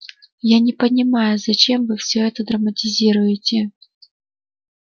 я не понимаю зачем вы все это драматизируете